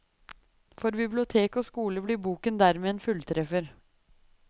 For bibliotek og skole blir boken dermed en fulltreffer.